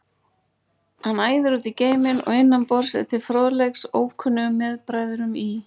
Hann æðir út í geiminn og innan borðs er til fróðleiks ókunnum meðbræðrum í